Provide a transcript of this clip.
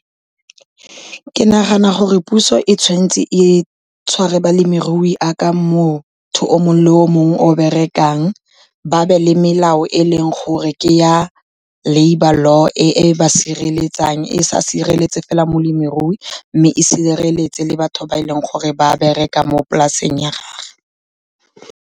Ke nagana gore puso e tshwanetse e tshware balemirui jaaka motho o mongwe le o mongwe o berekang. Ba be le melao e leng gore ke ya labour law e ba sireletsang, e sa sireletse fela molemirui mme e sireletse le batho ba e leng gore ba bereka mo polaseng ya gagwe.